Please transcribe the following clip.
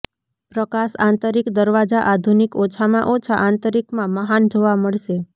પ્રકાશ આંતરિક દરવાજા આધુનિક ઓછામાં ઓછા આંતરિક માં મહાન જોવા મળશે